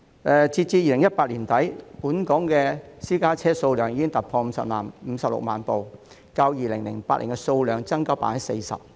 截至2018年年底，本港私家車數目已突破56萬輛，較2008年增加 40%。